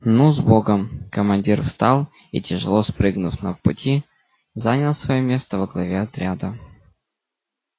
ну с богом командир встал и тяжело спрыгнув на пути занял своё место во главе отряда